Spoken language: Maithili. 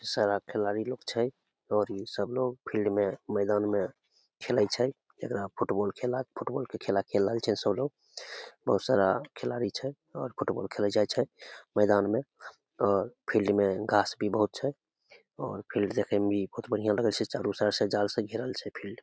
सारा खेलाड़ी लोग छै और इ सब लोग फिल्ड में मैदान में खेलय छै जेकरा फुट-बॉल के खेला फुट-बॉल खेला खेल रहल छै सब लोग बहुत सारा खिलाडी छै और फुटबॉल खेलल जाय छै मैदान मे और फिल्ड में घास बहुत छै मे और फिल्ड देखे मे भी बहुत बढ़िया छै चारो साइड से जाल से घेरल छै फिल्ड --